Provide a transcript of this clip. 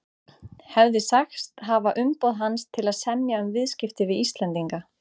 hefði sagst hafa umboð hans til að semja um viðskipti við Íslendinga.